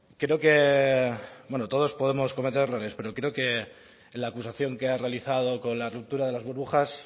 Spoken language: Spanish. creo que bueno todos podemos cometer errores pero creo que la acusación que ha realizado con la ruptura de las burbujas